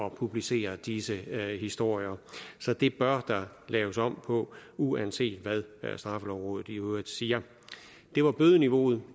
at publicere disse historier så det bør der laves om på uanset hvad straffelovrådet i øvrigt siger det var bødeniveauet